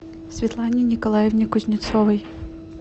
светлане николаевне кузнецовой